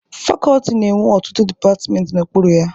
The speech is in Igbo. Fakọọti na-enwe ọtụtụ dịpatịmentị n'okpuru ya.